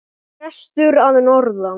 Prestur að norðan!